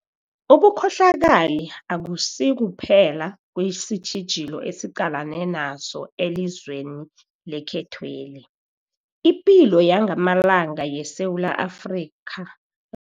Ubukhohlakali akusikuphe la kwesitjhijilo esiqalene naso elizweni lekhethweli. Ipilo yangamalanga yamaSewula Afrika